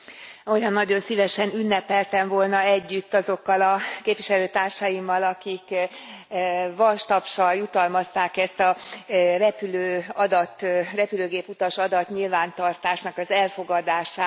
Olyan nagyon szívesen ünnepeltem volna együtt azokkal a képviselőtársaimmal, akik vastapssal jutalmazták ezt a repülőgéputasadat nyilvántartásnak az elfogadását.